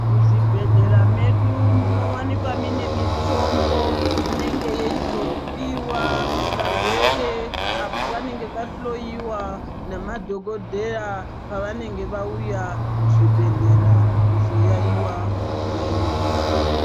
Muzvibhedhlera medu munowanikwa mune mititombo inenge yeizopiwa varwere vanenge vazohloiwa nemadhokodheya pavanenge vauya kuzvibhedhlera kuyaiwa zviyaiyo zvawo.